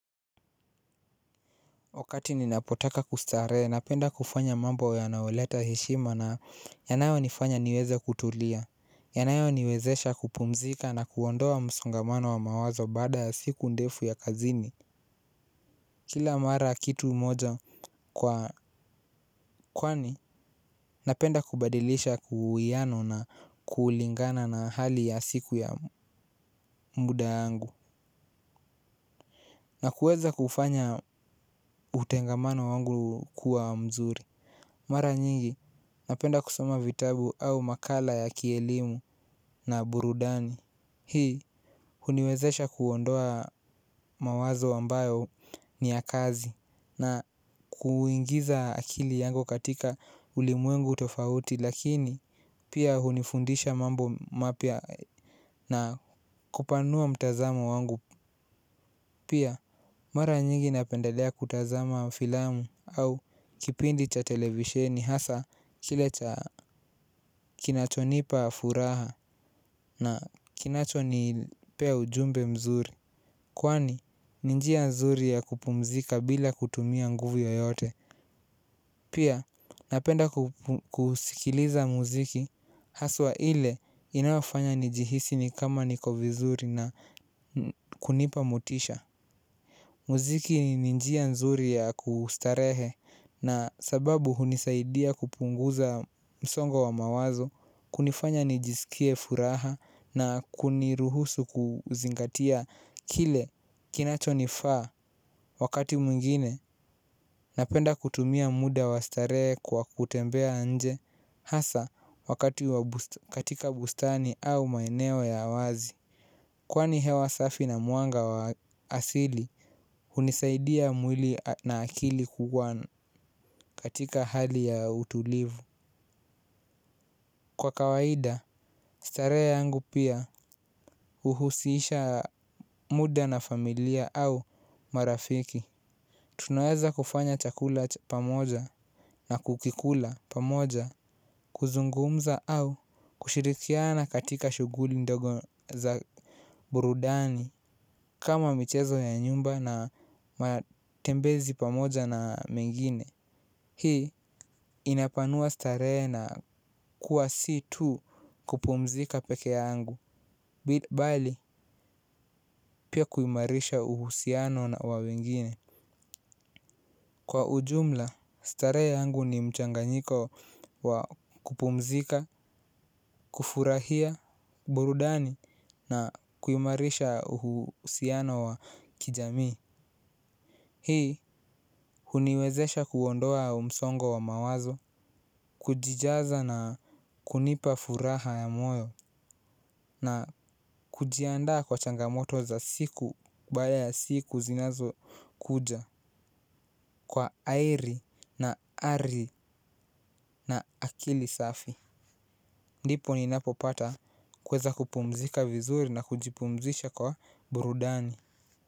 Wakati ninapotaka kustarehe, napenda kufanya mambo yanaoleta heshima na yanayo nifanya niweze kutulia. Yanayo niwezesha kupumzika na kuondoa msongamano wa mawazo baada siku ndefu ya kazini. Kila mara kitu moja kwa kwani, napenda kubadilisha kuwiano na kuulingana na hali ya siku ya muda angu. Na kuweza kufanya utengamano wangu kuwa mzuri mara nyingi napenda kusoma vitabu au makala ya kielimu na buruduni. Hii uniwezesha kuondoa mawazo ambayo ni ya kazi na kuingiza akili yangu katika ulimwengu tofauti lakini pia hunifundisha mambo mapya na kupanua mtazamo wangu pia. Mara nyingi napendelea kutazama filamu au kipindi cha televisheni hasa kile cha kinacho nipa furaha na kinacho nipea ujumbe mzuri. Kwani ni njia nzuri ya kupumzika bila kutumia nguvu yoyote. Pia napenda kusikiliza muziki haswa ile inafanya njihisi ni kama niko vizuri na kunipa motisha. Muziki ni ni njia nzuri ya kustarehe na sababu hunisaidia kupunguza msongo wa mawazo kunifanya nijisikie furaha na kuniruhusu kuzingatia kile kinacho nifaa wakati mwingine napenda kutumia muda wastarehe kwa kutembea nje hasa wakati katika bustani au maeneo ya wazi. Kwani hewa safi na mwanga wa asili, hunisaidia mwili na akili kuwa katika hali ya utulivu. Kwa kawaida, starehe yangu pia uhusisha muda na familia au marafiki. Tunaweza kufanya chakula pamoja na kukikula pamoja kuzungumza au kushirikiana katika shuguli ndogo za burudani. Kama michezo ya nyumba na matembezi pamoja na mengine. Hii inapanua starehe na kuwa si tu kupumzika peke yangu bili bali pia kuimarisha uhusiano na wawengine. Kwa ujumla starehe ya angu ni mchanganyiko wa kupumzika, kufurahia, burudani na kuimarisha uhusiano wa kijamii. Hii huniwezesha kuondoa msongo wa mawazo. Kujijaza na kunipa furaha ya moyo. Na kujiandaa kwa changamoto za siku kubale ya siku zinazo kuja. Kwa airi na ari na akili safi. Ndipo ninapopata kweza kupumzika vizuri na kujipumzisha kwa burudani.